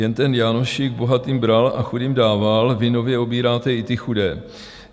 Jen ten Jánošík bohatým bral a chudým dával, vy nově obíráte i ty chudé.